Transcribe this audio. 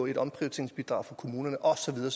et omprioriteringsbidrag for kommunerne og så videre